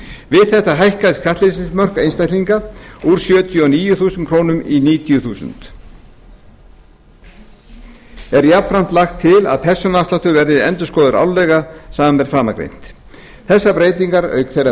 við þetta hækka skattleysismörk einstaklinga úr sjötíu og níu þúsund krónur í níutíu þúsund krónur er jafnframt lagt til að persónuafsláttur verði endurskoðaður árlega samanber framangreint þessar breytingar auk þeirrar